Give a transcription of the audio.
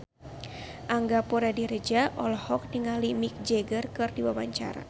Angga Puradiredja olohok ningali Mick Jagger keur diwawancara